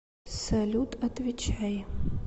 салют отвечай